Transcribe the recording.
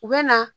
U bɛ na